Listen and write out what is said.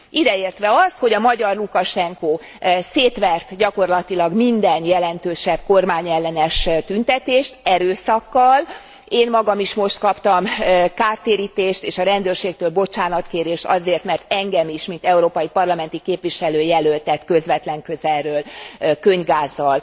Ideértve azt, hogy a magyar Lukasenko szétvert gyakorlatilag minden jelentősebb kormányellenes tüntetést erőszakkal, én magam is most kaptam kártérítést, és a rendőrségtől bocsánatkérést azért, mert engem is, mint európai parlamenti képviselőjelöltet közvetlen közelről könnygázzal